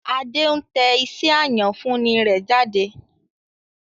Adé ń tẹ iṣẹ́ àyànfúnni rẹ̀ jáde